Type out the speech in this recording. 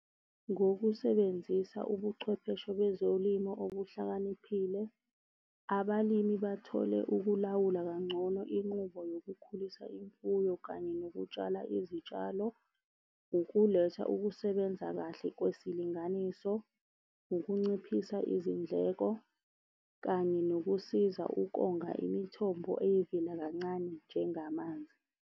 Ngokusebenzisa ubuchwepheshe bezolimo obuhlakaniphile. Abalimi bathole ukulawula kangcono inqubo yokukhulisa imfuyo kanye nokutshala izitshalo, ukuletha ukusebenza kahle kwesilinganiso, ukunciphisa izindleko, kanye nokusiza ukonga imithombo eyivela kancane njengamanzi.